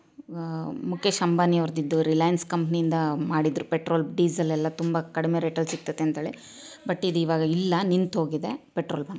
ಹಮ್ ಮುಕೇಶ್ ಅಂಬಾನಿ ಅವ್ರ್ದ್ ಇದು ರಿಲಯನ್ಸ್ ಕಂಪೆನಿಯಿಂದ ಮಾಡಿದ್ರು ಪೆಟ್ರೋಲ್ ಡೀಸೆಲ್ ಎಲ್ಲಾ ಕಡಿಮೆ ರೇಟಲ್ಲಿ ಸಿಗುತ್ತದೆ ಅಂತ ಹೇಳಿ ಬಟ್ಟೆಗೆ ಇವಾಗಿಲ್ಲ ನಿಂತು ಹೋಗಿದೆ ಪೆಟ್ರೋಲ್ ಬಂಕ್ .